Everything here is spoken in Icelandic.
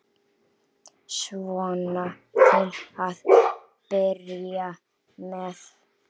Svona til að byrja með.